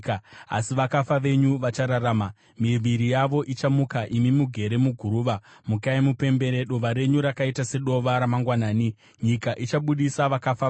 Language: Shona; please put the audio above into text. Asi vakafa venyu vachararama; miviri yavo ichamuka. Imi mugere muguruva, mukai mupembere. Dova renyu rakaita sedova ramangwanani; nyika ichabudisa vakafa vayo.